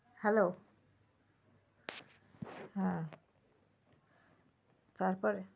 Hello হ্যাঁ। তারপরে?